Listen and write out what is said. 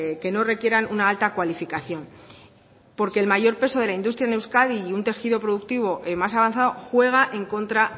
que no requieran una alta cualificación porque el mayor peso de la industria en euskadi y un tejido productivo más avanzado juega en contra